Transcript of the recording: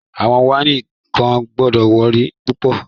Awọn waini kan gbọwọlorí pupọ̀